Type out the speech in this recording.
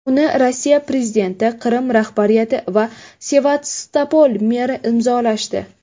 Uni Rossiya prezidenti, Qrim rahbariyati va Sevastopol meri imzolashdi.